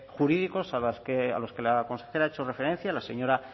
jurídicos a los que la consejera ha hecho referencia la señora